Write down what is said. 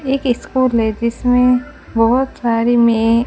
एक इसको लेडिस में बहोत सारी मे--